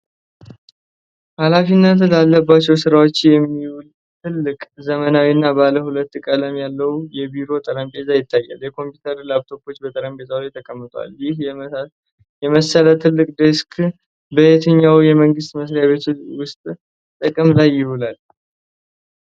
ኃላፊነት ላለባቸው ስራዎች የሚውል ትልቅ፣ ዘመናዊና ባለ ሁለት ቀለም ያለው የቢሮ ጠረጴዛ ይታያል። የኮምፒውተር ላፕቶፕ በጠረጴዛው ላይ ተቀምጧል። ይህ የመሰለ ትልቅ ዴስክ በየትኞቹ የመንግስት መስሪያ ቤቶች ውስጥ ጥቅም ላይ ይውላል?